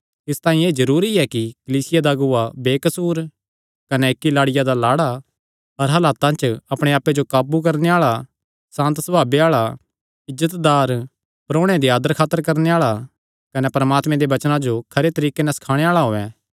इसतांई एह़ जरूरी ऐ कि कलीसिया दा अगुआ बेकसूर कने इक्की लाड़िया दा लाड़ा हर हालता च अपणे आप्पे जो काबू करणे आल़ा सांत सभावे आल़ा इज्जतदार परोणेयां दी आदरखातर करणे आल़ा कने परमात्मे दे वचने जो खरे तरीके नैं सखाणे आल़ा होयैं